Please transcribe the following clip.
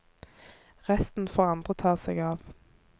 Resten får andre ta seg av.